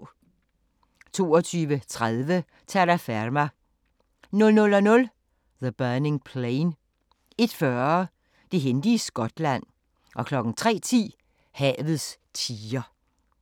22:30: Terraferma 00:00: The Burning Plain 01:40: Det hændte i Skotland 03:10: Havets tiger